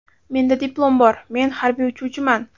Menda diplom bor, men harbiy uchuvchiman.